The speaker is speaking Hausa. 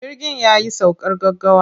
Jirgin ya yi saukar gaggawa.